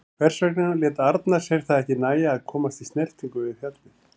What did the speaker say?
Hvers vegna lét Arnar sér það ekki nægja að komast í snertingu við fjallið?